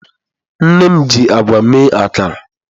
Nne m ji agwa mee akara.